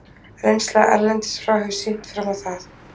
Reynsla erlendis frá hefur sýnt fram á það.